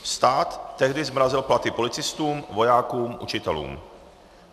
Stát tehdy zmrazil platy policistům, vojákům, učitelům.